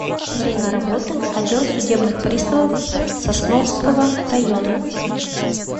время работы отдел судебных приставов сосновского района